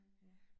Ja